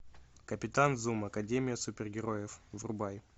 капитан зум академия супергероев врубай